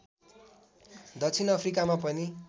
दक्षिण अफ्रिकामा पनि